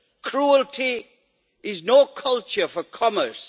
Cruelty is no culture for commerce.